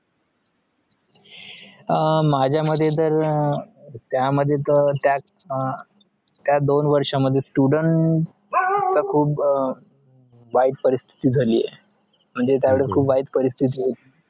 हा माझा मध्ये तर त्या मध्ये तर हा त्यात दोन वर्ष मध्ये students वाईट परस्तिती झाली म्हणजे वाईट परस्तिती होती